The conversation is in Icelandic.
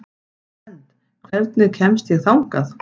Svend, hvernig kemst ég þangað?